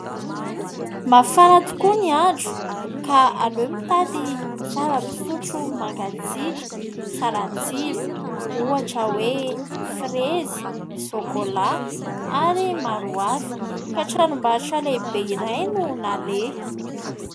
Mafana tokoa ny andro ka aleo mitady zava-pisotro mangatsiaka, tsara tsiro ohatra hoe : frezy, sokolà ary maro hafa ka tranombarotra lehibe iray no naleha.